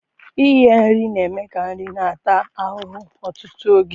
Ighe nri na-eme ka nri na-ata ahụhụ ọtụtụ oge.